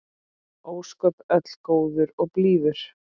Ósköpin öll góður og blíður.